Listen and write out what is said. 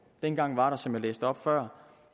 dengang var der som jeg læste op før